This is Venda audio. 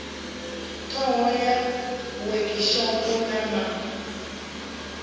ṱhoho ya wekhishopho na ma